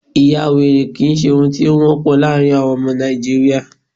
ìyawèrè kìí ṣe ohun tí o wọpọ laarin àwọn ọmọ Nàìjíría